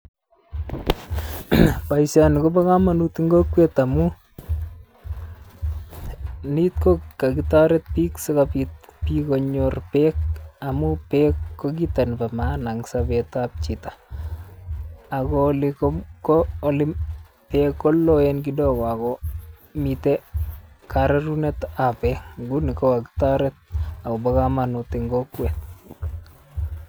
Boisioni kobo komonut en kokwet amun ni kokokitoret biik sikobit biik konyor beek amun beek ko kit nebo maana en sobetab chito ago oli ko oli beek koloen kidogo ogo miten rorunetab beek nguni kokitoret ogo bo komonut en kokwet.